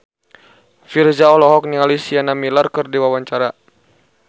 Virzha olohok ningali Sienna Miller keur diwawancara